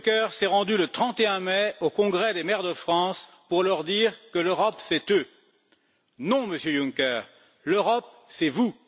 Juncker s'est rendu le 31 mai au Congrès des maires de France pour leur dire que l'Europe, c'est eux. Non, Monsieur Juncker, l'Europe, c'est vous!